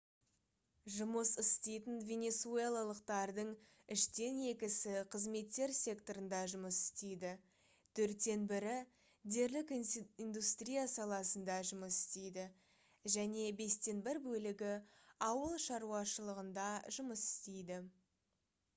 жұмыс істейтін венесуэлалықтардың үштен екісі қызметтер секторында жұмыс істейді төрттен бірі дерлік индустрия саласында жұмыс істейді және бестен бір бөлігі ауыл шаруашылығында жұмыс істейді